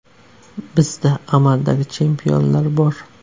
Bizda amaldagi chempionlar bor.